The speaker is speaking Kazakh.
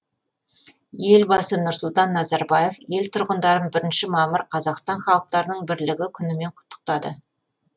елбасы нұрсұлтан назарбаев ел тұрғындарын бірінші мамыр қазақстан халықтарының бірлігі күнімен құттықтады